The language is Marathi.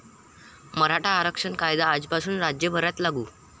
मराठा आरक्षण कायदा आजपासून राज्यभरात लागू